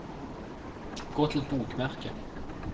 gå til bokmerke